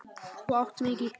Þú átt mig ekki.